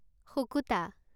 শুকুতা